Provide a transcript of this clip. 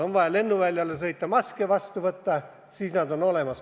On vaja lennuväljale sõita maske vastu võtma, siis nad on kohal.